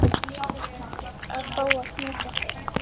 Að fá að knúsa þig.